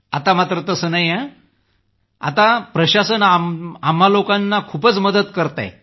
आता मात्र प्रशासनही आम्हा लोकांना खूप मदत करत आहेत